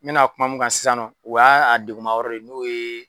N bɛna kuma mun kan sisan nɔ u ya a degunma yɔrɔ de ye n'o ye